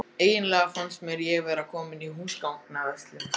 Eiginlega fannst mér ég vera komin í húsgagnaverslun.